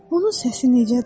Onun səsi necədir?